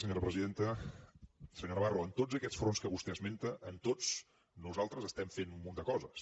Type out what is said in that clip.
senyor navarro en tots aquests fronts que vostè esmenta en tots nosaltres estem fent un munt de coses